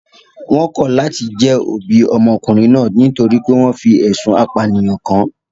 They rejected being the parents of the boy because he was accused of murder